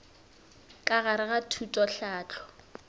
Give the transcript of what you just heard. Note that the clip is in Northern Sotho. ka gare ga thuto tlhahlo